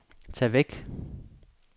tag væk